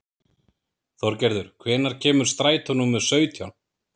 Þorgerður, hvenær kemur strætó númer sautján?